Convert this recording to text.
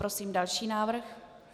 Prosím další návrh.